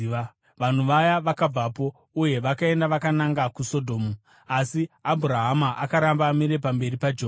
Vanhu vaya vakabvapo uye vakaenda vakananga kuSodhomu, asi Abhurahama akaramba amire pamberi paJehovha.